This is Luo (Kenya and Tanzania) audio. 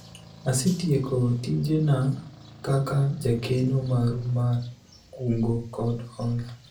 asetieko tijena kaka jakeno maru mar kungo kod hola